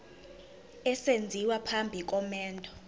esenziwa phambi komendo